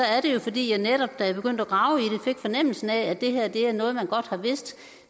er det jo fordi jeg netop da jeg begyndte at grave i det fik fornemmelsen af at det her er noget man godt har vidst